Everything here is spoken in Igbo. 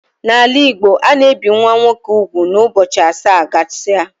N'ala Igbo ana ebi nwa nwoke úgwù na ụbọchị asaa gasia